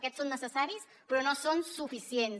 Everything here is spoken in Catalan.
aquests són necessaris però no són suficients